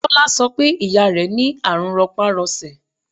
Tọ́lá sọ pé ìyá rẹ ní àrùn ropa-rose.